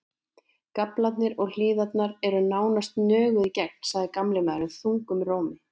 Gaflarnir og hliðarnar eru nánast nöguð í gegn, sagði gamli maðurinn þungum rómi.